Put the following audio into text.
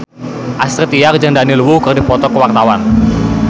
Astrid Tiar jeung Daniel Wu keur dipoto ku wartawan